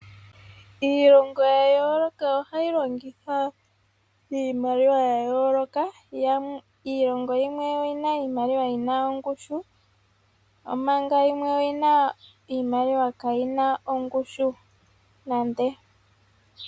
Iilongo ya yooloka ohayi longitha iimaliwa ya yooloka. Iilongo yimwe oyi na iimaliwa yi ma ongushu, omanga yimwe oyi na iimaliwa kaayi na ongushu nande.